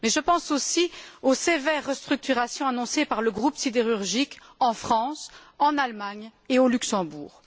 Mais je pense aussi aux sévères restructurations annoncées par le groupe sidérurgique en France, en Allemagne et au Luxembourg.